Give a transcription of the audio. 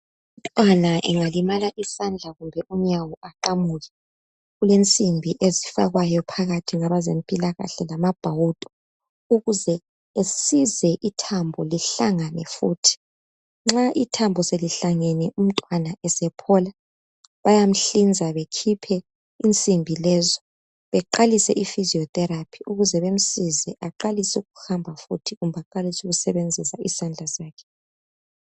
Umntwana angalimala isandla kumbe unyawo aqamuke kule nsimbi ezifakwayo phakathi ngabezempilakahle lamabhawudo ukuze esize ithambo lihlangane futhi . Nxa ithambo selihlangene umntwana esephola bayamhlinza bekhiphe insimbi lezo beqalisa ifiziyo theraphi ukuze bamsize awalise ukuhamba kumbe ukusebenzisa isandla so sakhe.